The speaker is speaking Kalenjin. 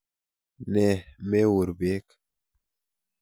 Ne meur beek?